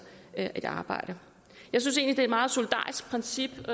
et arbejde jeg synes egentlig er meget solidarisk princip